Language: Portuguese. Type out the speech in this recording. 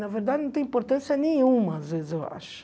Na verdade, não tem importância nenhuma, às vezes, eu acho.